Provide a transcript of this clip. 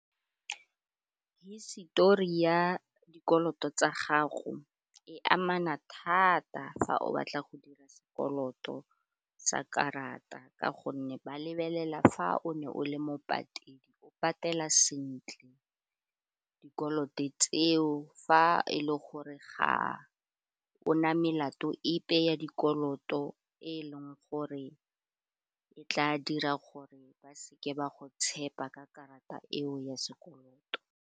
Histori ya dikoloto tsa gago e amana thata fa o batla go dira sekoloto sa karata ka gonne ba lebelela fa o ne o le mo patedi o patela sentle dikoloto tseo fa e le gore ga o na melato epe ya dikoloto e leng gore e tla dira gore ba seke ba go tshepa ka karata eo ya sekoloto.